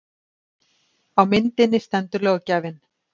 Á myndinni stendur löggjafinn